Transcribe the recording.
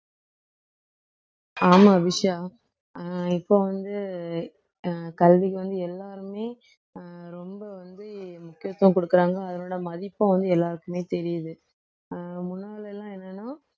ஆமா விஷா அஹ் இப்போ வந்து அஹ் கல்விக்கு வந்து எல்லாருமே அஹ் ரொம்ப வந்து முக்கியத்துவம் குடுக்கறாங்க அதனோட மதிப்பும் வந்து எல்லாருக்குமே தெரியுது அஹ் முன்னால எல்லாம் என்னன்னா